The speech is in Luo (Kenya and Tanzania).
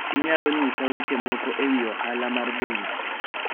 Inyalo nyisa weche moko e wi ohala mar bengi?